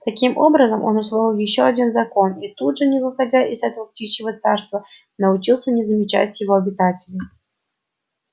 таким образом он усвоил ещё один закон и тут же не выходя из этого птичьего царства научился не замечать его обитателей